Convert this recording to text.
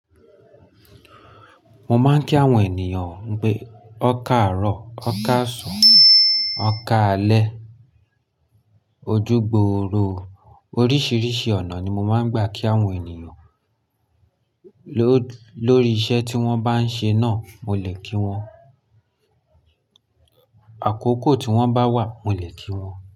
Mo máa ń kí àwọn ènìyàn pé ọ̀karọ̀, ọ̀karàsún, ọ̀kaàlé, ojúgbòòrò. Oríṣiríṣi ọ̀nà ni mo máa ń gbà kí àwọn ènìyàn lórí iṣẹ́ tí wọ́n bá ń ṣe náà, mo lè kí wọ́n. Àkókò tí wọ́n bá wà, mo lè kí wọ́n.